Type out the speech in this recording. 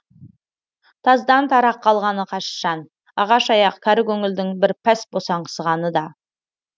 таздан тарақ қалғаны қаш шан ағаш аяқ кәрі көңілдің бір пәс босаңғысаны да